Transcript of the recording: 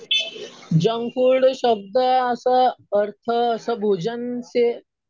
junk food शब्द असं अर्थ असं भोजनशी